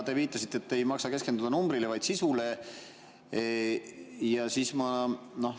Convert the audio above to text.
Te viitasite, et ei maksa keskenduda numbrile, vaid tuleks keskenduda sisule.